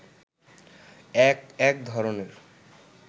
এক এক ধরণের